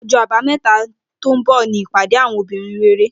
Ojó Àbáméta tó n bò ni ìpàdé àwon obìnrin rere